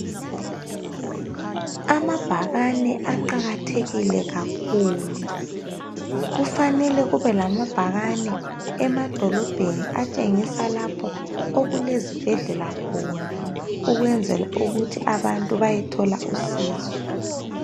Amabhakane aqakathekile kakhulu. Kufanele kube lamabhakane emadolobheni atshengisa lapho okulezibhedlela khona, ukwenzela ukuthi abantu bayethola usizo.